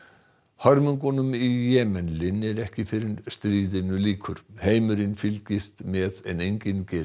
hörmungunum í Jemen linnir ekki fyrr en stríðinu lýkur heimurinn fylgist með en enginn gerir